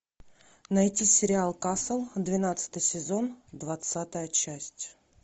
найти сериал касл двенадцатый сезон двадцатая часть